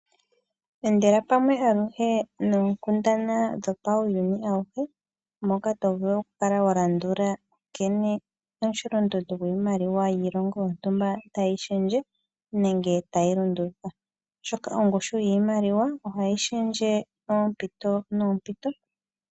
Endela pamwe aluhe noonkundana dhopauyuni awuhe, moka tovulu okukala wa landula nkene omusholondondo gwiimaliwa yiilongo yontumba tayi shendje, nenge tayi lunduluka, oshoka ongushu yiimaliwa ohayi shendje moompiyo noompito.